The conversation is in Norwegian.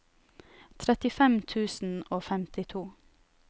trettifem tusen og femtito